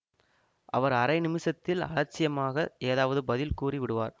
அவர் அரை நிமிஷத்தில் அலட்சியமாக ஏதாவது பதில் கூறி விடுவார்